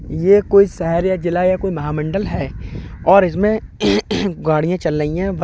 ये कोई शहर या जिला या महामंडल है और इसमें गाड़ियां चल लाइ हैं बस --